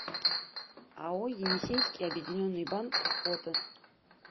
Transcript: ао енисейский объединенный банк фото